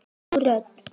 Ný rödd.